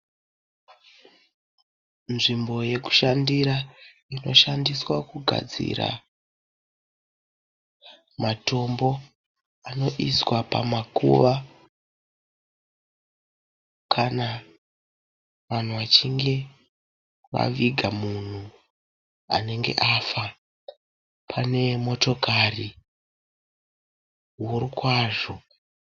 Nzvimbo yekushandira inoshandiswa kugadzira matombo anoiswa pamakuva kana vanhu vachinge vaviga munhu anenge afa. Pane motokari huru kwazvo.